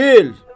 Çəkil!